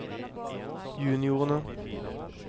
juniorene